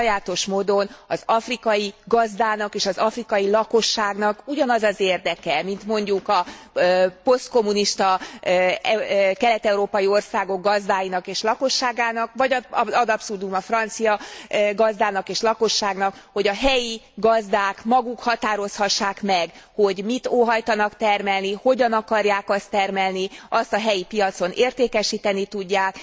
Sajátos módon az afrikai gazdának és az afrikai lakosságnak ugyanaz az érdeke, mint mondjuk a posztkommunista kelet európai országok gazdáinak és lakosságának, vagy ad absurdum a francia gazdának és lakosságnak, hogy a helyi gazdák maguk határozhassák meg, hogy mit óhajtanak termelni, hogyan akarják azt termelni, azt a helyi piacon értékesíteni tudják.